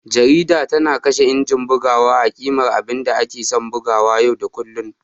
Jarida tana kashe injin bugawa a ƙimar abinda ake san a buga yau da kullun.